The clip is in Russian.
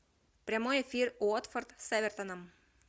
прямой эфир уотфорд с эвертоном